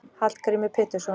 Hallgrímur Pétursson.